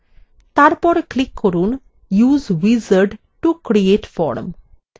তারপর click করুন use wizard to create form